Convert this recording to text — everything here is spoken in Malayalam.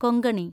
കൊങ്കണി